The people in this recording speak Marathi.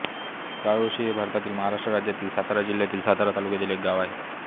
काळोशी हे भारतातील महाराष्ट्र राज्यातील सातारा जिल्ह्यातील सातारा तालुक्यातील एक गाव आहे